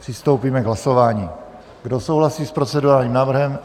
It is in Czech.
Přistoupíme k hlasování, kdo souhlasí s procedurálním návrhem.